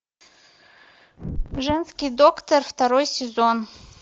женский доктор второй сезон